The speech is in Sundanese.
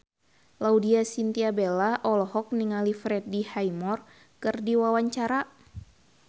Laudya Chintya Bella olohok ningali Freddie Highmore keur diwawancara